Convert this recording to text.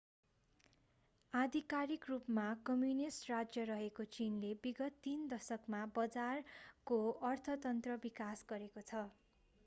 आधिकारिक रूपमा कम्युनिष्ट राज्य रहेको चीनले विगत तीन दशकमा बजारको अर्थतन्त्र विकास गरेको छ